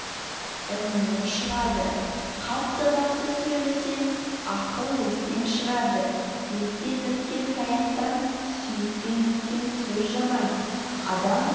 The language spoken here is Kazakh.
іннен шығады қатты-қатты сөйлесең ақыл естен шығады еттен өткен таяқтан сүйектен өткен сөз жаман адам